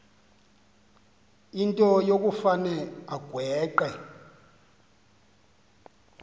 into yokufane agweqe